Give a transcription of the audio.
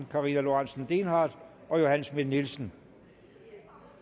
karina lorentzen dehnhardt og johanne schmidt nielsen